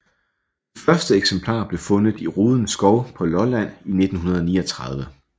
Det første eksemplar blev fundet i Roden Skov på Lolland i 1939